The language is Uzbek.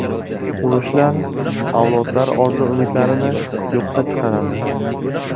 Urushlar avlodlar orzu-umidlarini yo‘qqa chiqaradi.